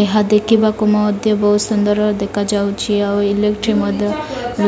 ଏହା ଦେଖିବାକୁ ମତେ ବହୁତ ସୁନ୍ଦର ଦେଖାଯାଉଛି ଆଉ ଇଲେକ୍ଟ୍ରି ମଧ୍ୟ